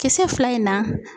Kisɛ fila in na